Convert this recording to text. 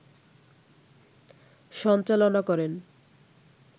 সঞ্চালনা করেন